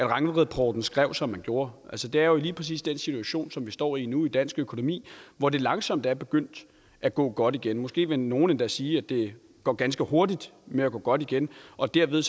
rangvidrapporten skrev som man gjorde altså det er jo lige præcis den situation som vi står i nu i dansk økonomi hvor det langsomt er begyndt at gå godt igen måske vil nogle endda sige at det går ganske hurtigt med at gå godt igen og dermed